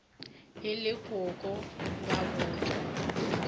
e le koko ba botšwa